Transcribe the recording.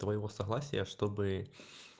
твоего согласия чтобы